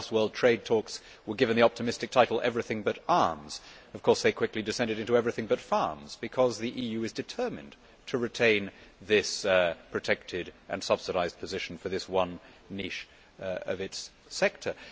The last World Trade talks were given the optimistic title Everything but Arms'. Of course, these quickly descended into everything but farms, because the EU is determined to retain this protected and subsidised position for this one niche sector.